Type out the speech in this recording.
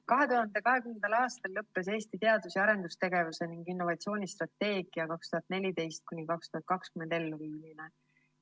2020. aastal lõppes Eesti teadus‑ ja arendustegevuse ning innovatsiooni strateegia 2014–2020 elluviimine.